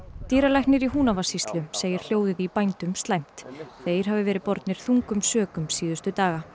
dýralæknir í Húnavatnssýslu segir hljóðið í bændum slæmt þeir hafi verið bornir þungum sökum síðustu daga